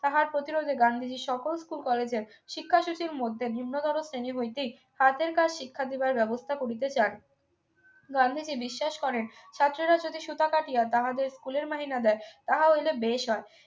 তাহার প্রতিরোধে গান্ধীজী সকল school college এ শিক্ষা শিশুর মধ্যে নিম্নগত শ্রেণী বৈদিক হাতের কাজ শিক্ষা দেবার ব্যবস্থা করিতে চান গান্ধীজী বিশ্বাস করেন ছাত্রীরা যদি সুতা কাটিয়া তাহাদের স্কুলের মাহিনা দেয় তাহা হইলে বেশ হয়